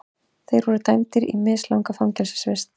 Þeir voru dæmdir í mislanga fangelsisvist